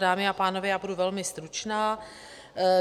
Dámy a pánové, já budu velmi stručná.